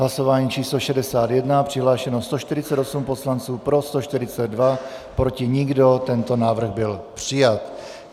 Hlasování číslo 61, přihlášeno 148 poslanců, pro 142, proti nikdo, tento návrh byl přijat.